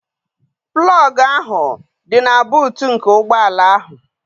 plọg ahụ dị na buut nke ụgbọ ala ahụ